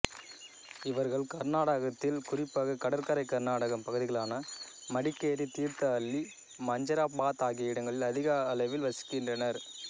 இவர்கள் கர்நாடகத்தில் குறிப்பாக கடற்கரை கர்நாடகம் பகுதிகளான மடிக்கேரி தீர்த்தஹள்ளி மஞ்சராபாத் ஆகிய இடங்களில் அதிக அளவில் வசிக்கின்றனர்